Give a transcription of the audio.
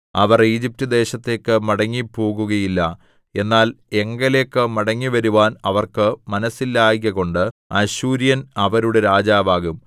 അവർ Egypt ദേശത്തേക്ക് മടങ്ങിപ്പോകുകയില്ല എന്നാൽ എങ്കലേക്ക് മടങ്ങിവരുവാൻ അവർക്ക് മനസ്സില്ലായ്കകൊണ്ട് അശ്ശൂര്യൻ അവരുടെ രാജാവാകും